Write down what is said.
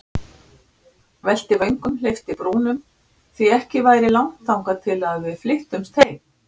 Velti vöngum, hleypti brúnum, því ekki væri langt þangað til við flyttumst heim.